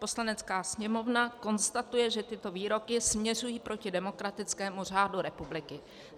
Poslanecká sněmovna konstatuje, že tyto výroky směřují proti demokratickému řádu republiky.